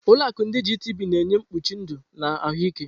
Ụlọ akụ ndi Gitibii na-enye mkpuchi ndụ na ahụike.